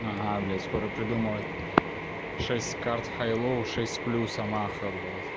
скоро придумывать шесть карт хай-лоу шесть плюс омаха блять